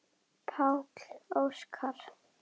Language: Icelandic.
Páll Óskar.